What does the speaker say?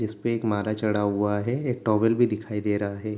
इस्पे एक माला चड़ा हुआ हैं। एक टॉवल भी दिखाई दे रहा हैं।